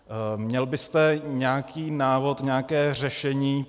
Měl byste nějaký návod, nějaké řešení?